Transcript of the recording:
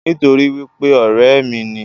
Nítorípé ọ̀rẹ́ ẹ̀ mi ni